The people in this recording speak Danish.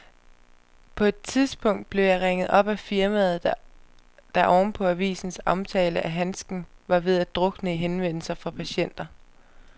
På et tidspunkt blev jeg ringet op af firmaet, der oven på avisens omtale af handsken var ved at drukne i henvendelser fra patienter.